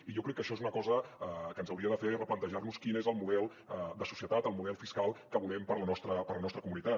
i jo crec que això és una cosa que ens hauria de fer replantejar nos quin és el model de societat el model fiscal que volem per a la nostra comunitat